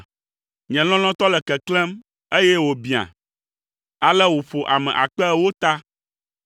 Nye lɔlɔ̃tɔ le keklẽm, eye wòbiã, ale wòƒo ame akpe ewo ta.